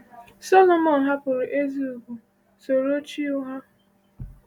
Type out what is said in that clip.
Solomon hapụrụ ezi ugwu, soro chi ụgha.